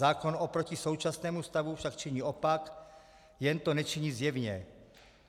Zákon oproti současnému stavu však činí opak, jen to nečiní zjevně.